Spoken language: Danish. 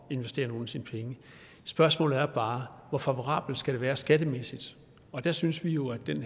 investere nogle af sine penge spørgsmålet er bare hvor favorabelt det skal være skattemæssigt der synes vi jo at den